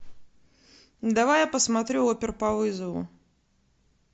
давай я посмотрю опер по вызову